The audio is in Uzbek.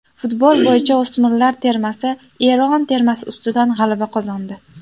Futbol bo‘yicha o‘smirlar termasi Eron termasi ustidan g‘alaba qozondi.